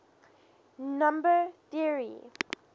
number theory